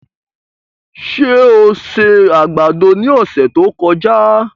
Ṣé o se àgbàdo ní ọ̀sẹ̀ tí ó kọjá?